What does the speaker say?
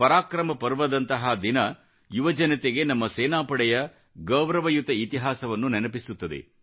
ಪರಾಕ್ರಮ ಪರ್ವದಂತಹ ದಿನ ಯುವಜನತೆಗೆ ನಮ್ಮ ಸೇನಾಪಡೆಯ ಗೌರವಯುತ ಇತಿಹಾಸವನ್ನು ನೆನಪಿಸುತ್ತದೆ